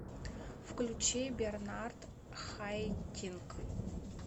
включи бернард хайтинк